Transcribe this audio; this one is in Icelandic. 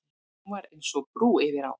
Hún var eins og brú yfir á.